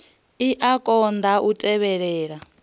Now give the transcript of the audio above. i a konḓa u tevhelela